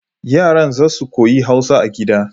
Yaran za su koyi Hausa a gida